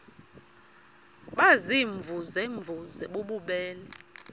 baziimvuze mvuze bububele